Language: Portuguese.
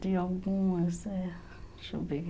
De algumas, é. Deixa eu ver.